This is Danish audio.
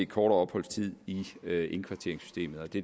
kortere opholdstid i indkvarteringssystemet og det